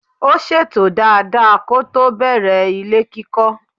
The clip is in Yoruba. Ó ṣètò dada kótó bẹ̀rẹ̀ ilé kíkọ́.